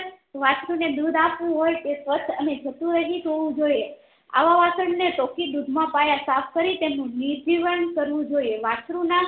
વાસ્ત્રુ ને દુધ આપવું હોય તે સ્વચ્ચ અને જંતુરહી હોવુંજોઈએ આવા વાસણ તો થી દુધ મપાય સાફ કરી તેનું નિરજીવન કરવું જોઈએ વાસ્ત્રુ ના